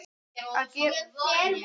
Að geta lifað.